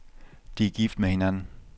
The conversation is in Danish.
De er gift med hinanden.